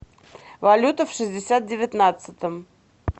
валюта в шестьдесят девятнадцатом